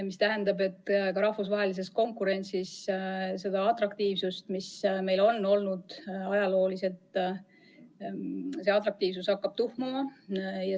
See tähendab, et ka rahvusvahelises konkurentsis hakkab see atraktiivsus, mis meil varem on olnud, tuhmuma.